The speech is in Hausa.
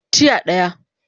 Tiya daya